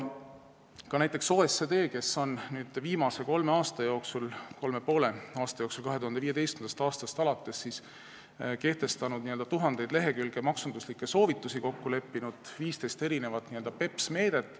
Ka OECD on viimase kolme ja poole aasta jooksul, alates 2015. aastast kehtestanud tuhandeid lehekülgi maksunduslikke soovitusi ja kokku leppinud 15 n-ö BEPS-meedet.